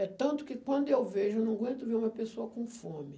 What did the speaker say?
É tanto que quando eu vejo, eu não aguento ver uma pessoa com fome.